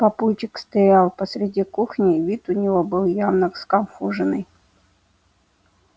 папульчик стоял посреди кухни и вид у него был явно сконфуженный